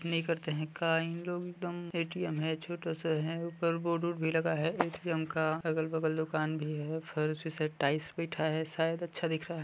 नई करते है का इन लोग एकदम ए_टी_एम है छोटा सा है ऊपर बोर्ड वोड भी लगा है ए_टी_एम का अगल बगल दुकान भी है फर्स से टाइल्स भी बैठा है अच्छा दिख रहा है। शायद